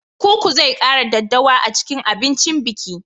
Koko zai kara daddawa a cikin abincin biki.